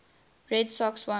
red sox won